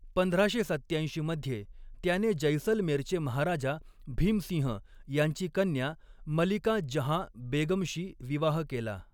पंधराशे सत्त्याऐंशी मध्ये, त्याने जैसलमेरचे महाराजा भीमसिंह यांची कन्या मलिका जहाँ बेगमशी विवाह केला.